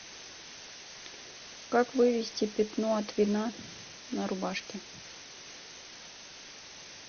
как вывести пятно от вина на рубашке